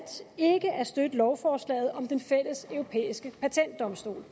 ikke at støtte lovforslaget om den fælles europæiske patentdomstol